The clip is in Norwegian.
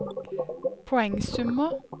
poengsummer